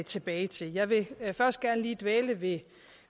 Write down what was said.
tilbage til jeg vil først gerne lige dvæle ved